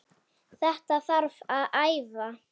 Þetta þarf að æfa.